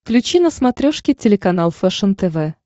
включи на смотрешке телеканал фэшен тв